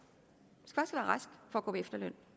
gå på efterløn